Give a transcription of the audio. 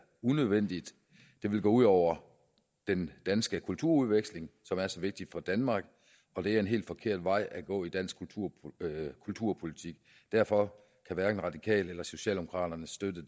unødvendigt det ville gå ud over den danske kulturudveksling som er så vigtig for danmark og det er en helt forkert vej at gå i dansk kulturpolitik derfor kan hverken radikale eller socialdemokraterne støtte